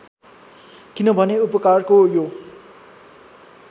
किनभने उपकारको यो